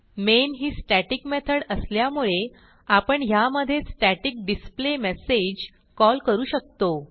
main ही static method असल्यामुळे आपण ह्यामधे स्टॅटिक डिस्प्लेमेसेज कॉल करू शकतो